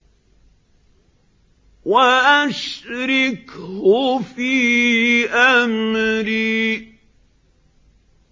وَأَشْرِكْهُ فِي أَمْرِي